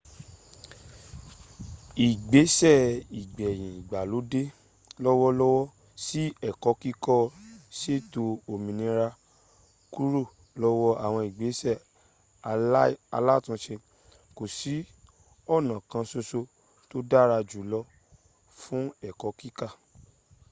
ìgbẹ́sẹ̀ igbeyin ìgbàlódẹ́ lọ́wọ́lọ́wọ́ sí ẹ̀kọ́ kíkọ́ sètò òmìnira kúrò lọ́wọ́ àwọn ìgbẹ́sẹ̀ áìlatúnsẹ kò sí ọ̀nà kan sọsọ tò dára jùlo fún ẹ̀kọ́ kíkọ